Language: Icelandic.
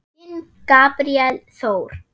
Þinn, Gabríel Þór.